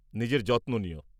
নিজের যত্ন নিও।